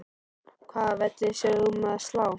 Hvaða velli sérð þú um að slá?